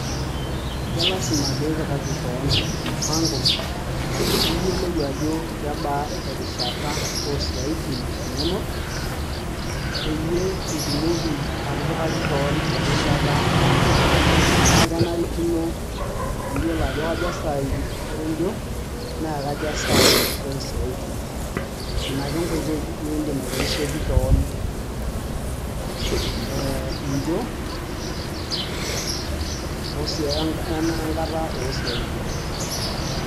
kelasima piipikaki kewon mpango piiyolou ajo kebaa erishata oo isiaitin inonok peyie itumoki atipikaki kewon erishata oonjo niaku kenarikino niyiolo ajo kaja saai onjo naa kaja saai oo siaitin ina ake enkoitoi niindim aitorisioki kewon ee injo o enkata oo siaitin.